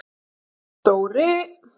Dóri